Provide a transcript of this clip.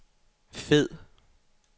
fed